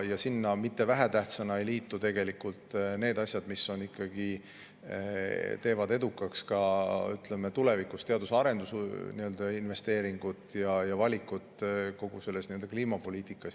Sinna juurde tulevad asjad, mis ei ole ka vähem tähtsad ja mis teevad tulevikus edukaks teadus- ja arendusinvesteeringud ning kliimapoliitika valikud.